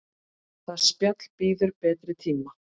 Það spjall bíður betri tíma.